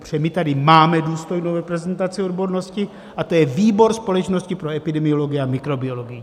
Protože my tady máme důstojnou reprezentaci odbornosti a to je výbor Společnosti pro epidemiologii a mikrobiologii.